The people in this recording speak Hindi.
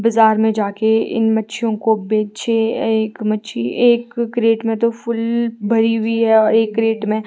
बजार में जाके इन मच्छियों को बेचे अ एक मच्छी एक कैरेट में तो फूल भरी हुई है और एक कैरेट में--